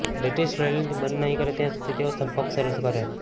British રોયલ્ટીને બંધ નહીં કરે ત્યાં સુધી તેઓ સંપર્ક શરૂ કરે